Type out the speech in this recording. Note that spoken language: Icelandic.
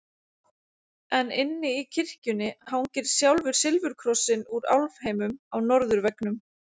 En inni í kirkjunni hangir sjálfur silfurkrossinn úr álfheimum á norðurveggnum.